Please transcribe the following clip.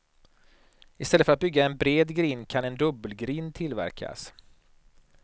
I stället för att bygga en bred grind kan en dubbelgrind tillverkas.